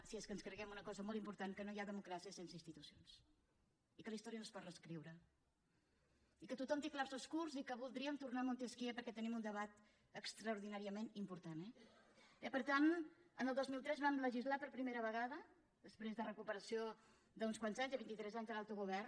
si és que ens creiem una cosa molt important que no hi ha democràcia sense institucions i que la història no es pot reescriure i que tothom té clarobscurs i que voldríem tornar a montesquieu perquè tenim un debat extraordinàriament important eh per tant el dos mil tres ho vam legislar per primera vegada després de la recuperació d’uns quants anys de vint itres anys de l’autogovern